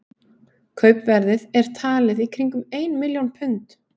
Kaupverðið er talið í kringum ein milljón pund.